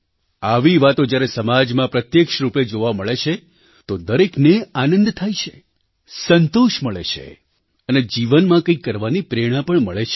આવી વાતો જ્યારે સમાજમાં પ્રત્યક્ષ રૂપે જોવા મળે છે તો દરેકને આનંદ થાય છે સંતોષ મળે છે અને જીવનમાં કંઈક કરવાની પ્રેરણા પણ મળે છે